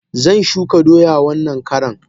Zan shuka doya wannan karan.